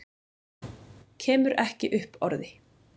Kemur ekki upp orði.